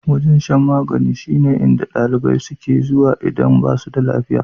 Wajen shan magani shine inda ɗalibai suke zuwa idan basu da lafiya.